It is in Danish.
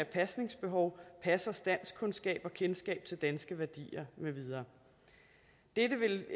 pasningsbehov passers danskkundskaber og kendskab til danske værdier med videre dette vil